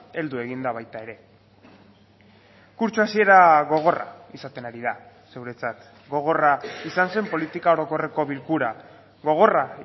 heldu egin da baita ere kurtso hasiera gogorra izaten ari da zuretzat gogorra izan zen politika orokorreko bilkura gogorra